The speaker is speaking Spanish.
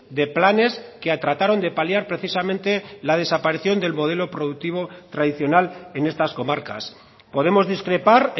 de planes que trataron de paliar precisamente la desaparición del modelo productivo tradicional en estas comarcas podemos discrepar